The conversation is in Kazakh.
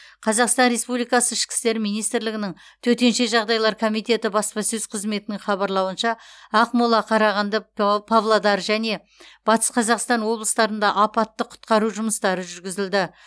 қазақстан республикаы ішкі істер министрлігінің төтенше жағдайлар комитеті баспасөз қызметінің хабарлауынша ақмола қарағанды па павлодар және батыс қазақстан облыстарында апатты құтқару жұмыстары жүргізілді